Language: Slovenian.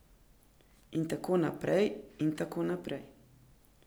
In tako naprej, in tako naprej.